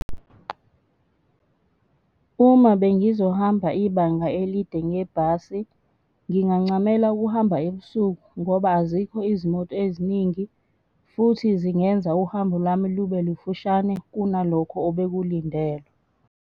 Uma bengizohamba ibanga elide ngebhasi, ngingancamela ukuhamba ebusuku ngoba azikho izimoto eziningi futhi zingenza uhambo lwami lube lufushane kunalokho obekulindelwe.